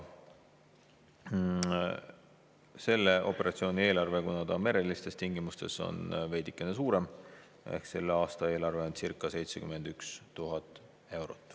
Selle operatsiooni eelarve, kuna see toimub merelistes tingimustes, on veidikene suurem: selle aasta eelarve on circa 71 000 eurot.